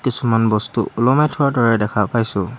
কিছুমান বস্তু ওলমাই থোৱাৰ দৰে দেখা পাইছোঁ।